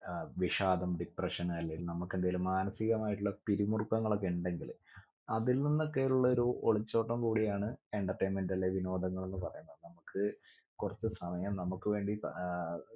അഹ് വിഷാദം depression അല്ലെൽ നമുക്കെന്തെങ്കിലും മനസികമായിട്ടുള്ള പിരിമുറുക്കങ്ങളൊക്കെയിണ്ടെങ്കിൽ അതിൽ നിന്നൊക്കെയുള്ളൊരു ഒളിച്ചോട്ടം കൂടിയാണ് entertainment അല്ലെ വിനോദങ്ങൾ എന്ന് പറയുന്നത് നമ്മുക്ക് കുറച്ച് സമയം നമുക്ക് വേണ്ടി ആഹ്